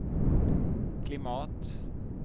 klimat